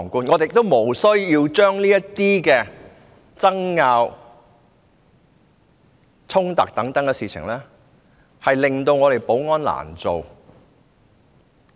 我們也不需要為這些爭拗、衝突等事令立法會的保安人員難做。